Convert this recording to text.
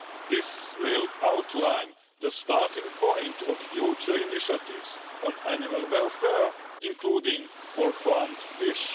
This will outline the starting point of future initiatives on animal welfare, including for farmed fish.